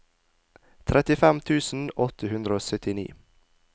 trettifem tusen åtte hundre og syttini